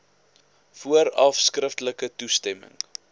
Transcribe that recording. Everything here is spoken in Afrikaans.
vooraf skriftelik toestemming